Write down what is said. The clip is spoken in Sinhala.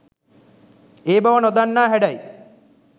ඒ බව නොදන්නා හැඩයි